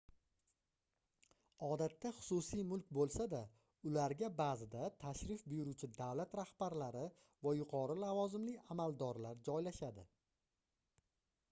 odatda xususiy mulk boʻlsa-da ularga baʼzida tashrif buyuruvchi davlat rahbarlari va yuqori lavozimli amaldorlar joylashadi